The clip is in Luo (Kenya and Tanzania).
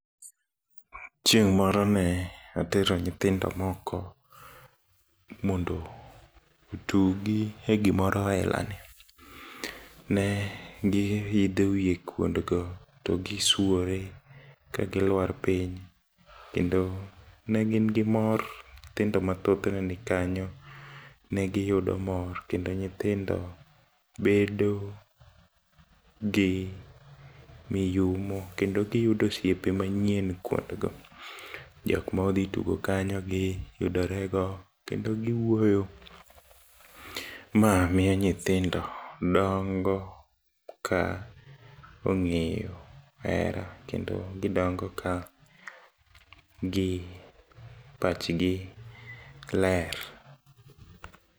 Chieng' moro ne atero nyithindo moko mondo otugi e gimoro ailani, ne gi idho wie kuondgo togisuore kagiluar piny kendo negin gi mor, nyithindo mathoth neni kanyo negiyudo mor kendo nyithindo bedogi miyumo kendo giyudo osiepe manyien kuondgo. Jokma odhi tugo kanyo giyudorego kendo giwuoyo, ma miyo nyithindo dongo ka ong'eyo hera kendo gidongo ka gi pachgi ler.